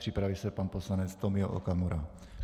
Připraví se pan poslanec Tomio Okamura.